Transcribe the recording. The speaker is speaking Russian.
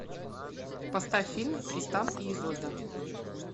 поставь фильм тристан и изольда